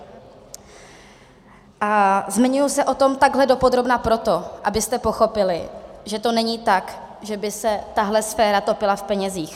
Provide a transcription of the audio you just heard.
A zmiňuji se o tom takhle dopodrobna proto, abyste pochopili, že to není tak, že by se tahle sféra topila v penězích.